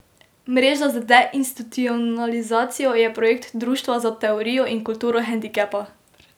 Mreža za deinstitucionalizacijo je projekt Društva za teorijo in kulturo hendikepa.